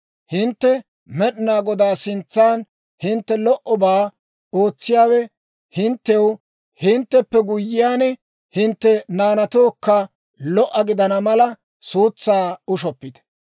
Hintte Med'inaa Godaa sintsan hintte lo"obaa ootsiyaawe hinttew, hintteppe guyyiyaan, hintte naanatookka lo"o gidana mala, suutsaa ushshoppite.